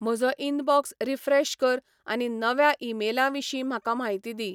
म्हजो inbox refresh कर आनी नव्या ईमेलां विशीं म्हाका म्हायती दी